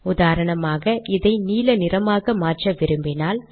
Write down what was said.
உதாரணமாக இதை நீல நிறமாக மாற்ற விரும்பினால்